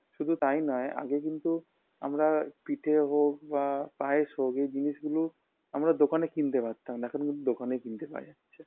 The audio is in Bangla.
শুধু তাই নয় আগে কিন্তু আমরা পিঠে হোক বা পায়েস হোক এই জিনিস গুলো আমরা দোকানে কিনতে পারতাম না এখন কিন্তু দোকানে কিনতে পাওয়া যাচ্ছে